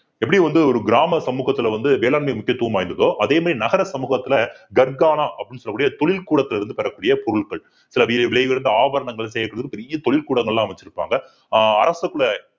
எப்படி வந்து ஒரு கிராம சமூகத்துல வந்து வேளாண்மை முக்கியத்துவம் வாய்ந்ததோ அதே மாதிரி நகர சமூகத்துல தர்ஹானா அப்படின்னு சொல்லக்கூடிய தொழில் கூடத்திலிருந்து பெறக்கூடிய பொருட்கள் சில வி~ விலை உயர்ந்த ஆபரணங்கள் செய்யக்கூடிய பெரிய தொழில் கூடங்கள்லாம் வச்சிருப்பாங்க ஆஹ் அரசு குல